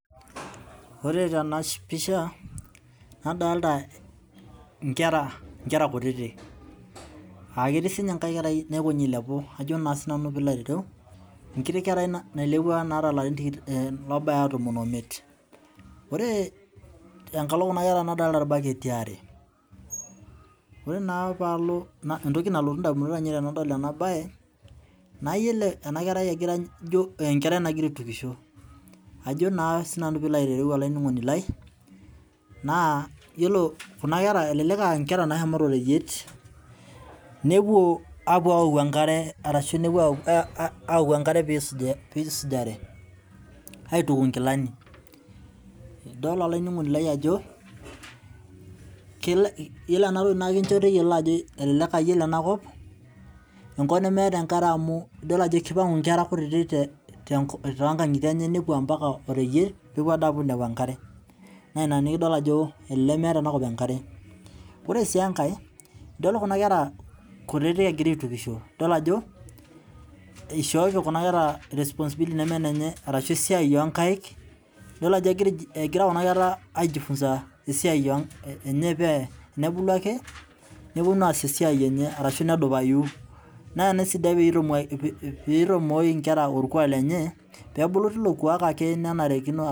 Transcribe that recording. Ore tenapisha nadolta nkera kutitik aa ketii sinye enkiti kerai nagira ailepu nailepuo naata laarin obaya tomon omiet ore enkalo kuma kera nadolita irbaketi aare ore entoki nalotu ndamunot ainei tanadol enabae nayiolo enakerai ijo enkerai nagira aitukisho ajo na sinanu pilo ayiolou yiolo kunakera na nkera nashomoito oreyiet nepuo aoku enkare peisujare aituku nkilani idol olaininingoni lai ajo iyoolo enkop neemeta enkare amu idol ajo kepuo ayau enkare ambaka oreyiet pepuo ayau enkare naina pidol ajo elelek meeta enakop enkare ore si enkae idolta enkerai kutitik nashomo aisujisho onkaik egira kunakera aijifunza esiai enye ake atashu nedupai na ina esidai peitamoki orkuak lenye pebulu tilo kuak ake nenarikino